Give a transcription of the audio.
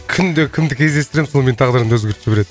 күнде кімді кездестіремін сол менің тағдырымды өзгертіп жібереді